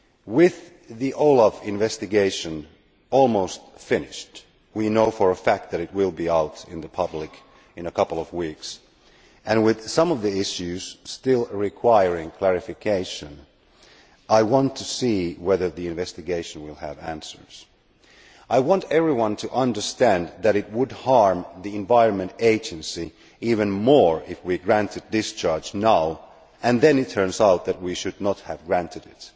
With the OLAF investigation almost finished we know for a fact that it will be published in a couple of weeks and with some of the issues still requiring clarification, I want to see whether the investigation will provide answers. I want everyone to understand that it would harm the Environment Agency even more if we granted discharge now and then it turned out that we should not have granted it.